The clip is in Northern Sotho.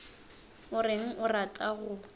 o reng o rata go